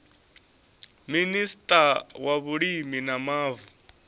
minista wa vhulimi na mavu